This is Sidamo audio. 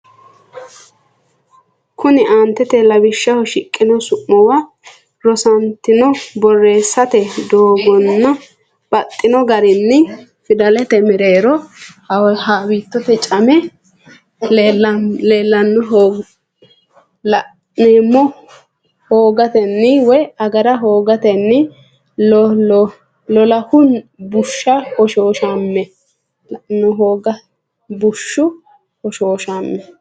Konninni aante lawishshaho shiqqino su’muwa rosantino borreessate doogonni baxxino garinni fidallate mereero haawiittote camme la’neemmo, hoogatenni woy agara hoogatenni loolahunni bushshu hoshooshame?